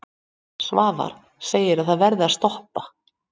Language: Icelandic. Svavar segi að það verði að stoppa.